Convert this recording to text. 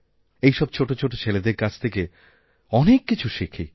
এই সব ছোট ছোট ছেলেদেরকাছ থেকে অনেক কিছু শিখি